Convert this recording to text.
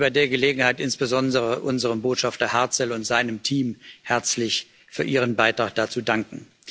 Ich möchte bei der Gelegenheit insbesondere unserem Botschafter Hartzell und seinem Team herzlich für ihren Beitrag dazu danken.